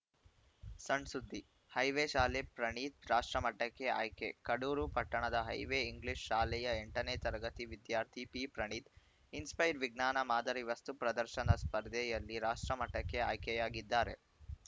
ಸಣ್‌ ಸುದ್ದಿ ಹೈವೇ ಶಾಲೆ ಪ್ರಣೀತ್‌ ರಾಷ್ಟ್ರಮಟ್ಟಕ್ಕೆ ಆಯ್ಕೆ ಕಡೂರು ಪಟ್ಟಣದ ಹೈವೇ ಇಂಗ್ಲಿಷ್‌ ಶಾಲೆಯ ಎಂಟನೇ ತರಗತಿ ವಿದ್ಯಾರ್ಥಿ ಪಿಪ್ರಣೀತ್‌ ಇನ್‌ಸ್ಪೈರ್‌ ವಿಜ್ಞಾನ ಮಾದರಿ ವಸ್ತು ಪ್ರದರ್ಶನದ ಸ್ಪರ್ಧೆಯಲ್ಲಿ ರಾಷ್ಟ್ರಮಟ್ಟಕ್ಕೆ ಆಯ್ಕೆಯಾಗಿದ್ದಾರೆ